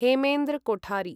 Hemendra Kothari